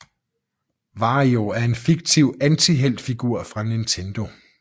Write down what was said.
Wario er en fiktiv antihelt figur fra Nintendo